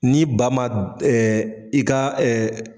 Ni ba ma i ka